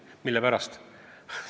Mille pärast nüüd ei küsitud?